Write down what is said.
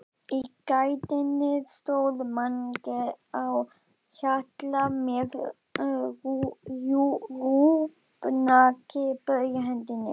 Í gættinni stóð Mangi á Hjalla með rjúpnakippu í hendinni.